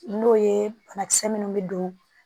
N'o ye banakisɛ minnu bɛ don